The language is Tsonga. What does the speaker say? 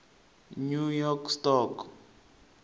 new york stock